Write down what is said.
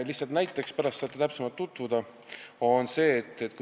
Lihtsalt näiteks, pärast saate täpsemalt tutvuda.